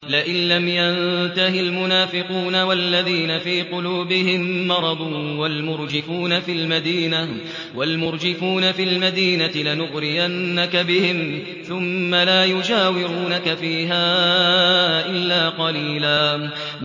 ۞ لَّئِن لَّمْ يَنتَهِ الْمُنَافِقُونَ وَالَّذِينَ فِي قُلُوبِهِم مَّرَضٌ وَالْمُرْجِفُونَ فِي الْمَدِينَةِ لَنُغْرِيَنَّكَ بِهِمْ ثُمَّ لَا يُجَاوِرُونَكَ فِيهَا إِلَّا قَلِيلًا